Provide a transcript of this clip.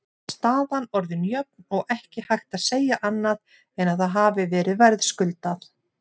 Staðan orðin jöfn og ekki hægt að segja annað en að það hafi verið verðskuldað.